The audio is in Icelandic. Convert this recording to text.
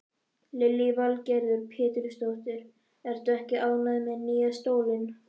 Lillý Valgerður Pétursdóttir: Ertu ekki ánægð með nýja stólinn?